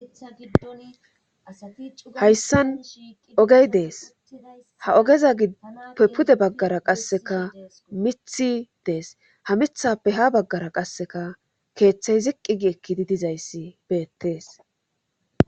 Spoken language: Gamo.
tha giddon asati hayssan ogey dees ha ogeza gipe pude baggara qasseka mithi dees ha mithappe ha baggara qasseka keeththey ziqqigi ekkidi dizayssi beettees